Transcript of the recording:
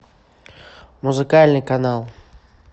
музыкальный канал